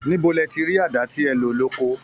Níbo lẹ ti rí àdá tẹ lò ní oko?